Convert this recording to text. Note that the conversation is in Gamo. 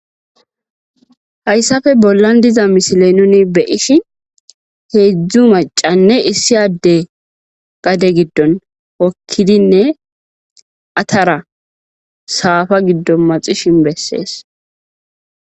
Haysape bolan diza missile nuni be'ishin hezu mac'c'ine issi adey gade gidon hokidine atara safa gidon maxishin beses.